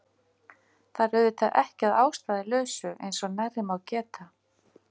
Það er auðvitað ekki að ástæðulausu eins og nærri má geta